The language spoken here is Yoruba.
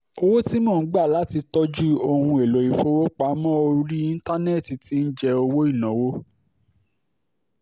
owó tí mo ń gbà láti tọ́jú ohun èlò ìfowópamọ́ orí íńtánẹ́ẹ̀tì ti ń jẹ owó ìnáwó